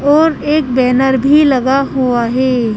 और एक बैनर भी लगा हुआ है।